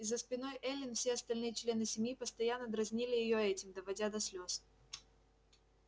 и за спиной эллин все остальные члены семьи постоянно дразнили её этим доводя до слез